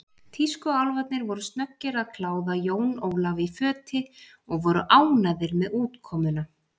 Tískuálfarnir voru snöggir að kláða Jón Ólaf í föti og voru ánægðir með útkomuna.